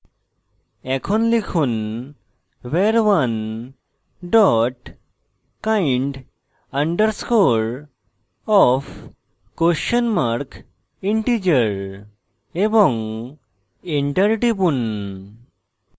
এখন লিখুন var1 dot kind _ underscore of question mark integer এবং enter টিপুন